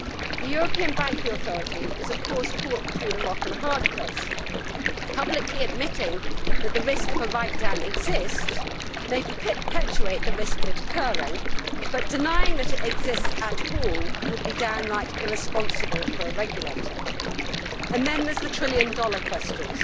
The European Banking Authority is of course caught between a rock and a hard place publicly admitting that the risk of a write down exists may perpetuate the risk of it occurring, but denying that it exists at all would be downright irresponsible for a regulator. And then there are the trillion dollar questions.